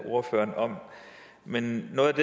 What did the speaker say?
ordføreren om men noget